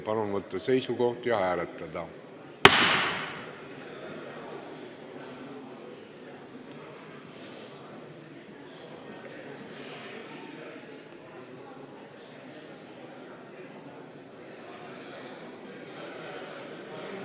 Palun võtta seisukoht ja hääletada!